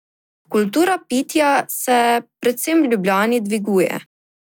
Kultura pitja se, predvsem v Ljubljani, dviguje.